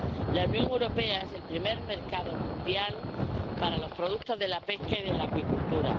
La Unión Europea es el primer mercado mundial para los productos de la pesca y de la acuicultura.